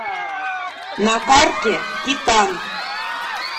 на карте титан